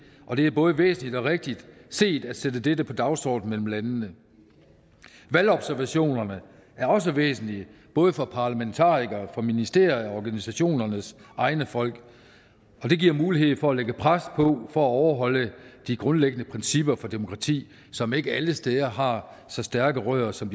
og det er både væsentligt og rigtigt set at sætte dette på dagsordenen mellem landene valgobservationerne er også væsentlige både for parlamentarikere for ministerier og organisationernes egne folk det giver mulighed for at lægge pres på for at overholde de grundlæggende principper for demokrati som ikke alle steder har så stærke rødder som